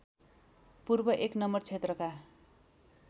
पूर्व १ नं क्षेत्रका